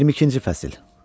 22-ci fəsil.